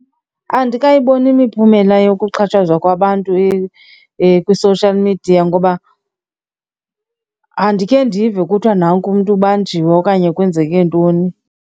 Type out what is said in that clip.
Andikayiboni imiphumela yokuxhatshazwa kwabantu kwi-social media ngoba andikhe ndive kuthiwa nanku umntu ubanjiwe okanye kwenzeke ntoni.